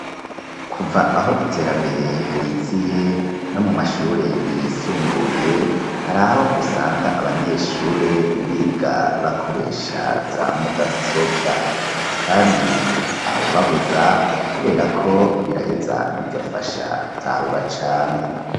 Kuva aho iterambere riziye, no mu mashure yisumbuye, hari aho usanga abanyeshure, biga bakoresha za mudasobwa; kandi ntawubabuza, kubera ko, biraheza bigafasha gutahura cane.